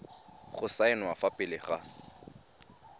go saenwa fa pele ga